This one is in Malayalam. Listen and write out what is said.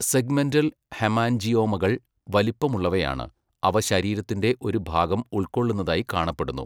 സെഗ്മെൻറ്റൽ ഹെമാൻജിയോമകൾ വലുപ്പമുള്ളവ ആണ്, അവ ശരീരത്തിന്റെ ഒരു ഭാഗം ഉൾക്കൊള്ളുന്നതായി കാണപ്പെടുന്നു.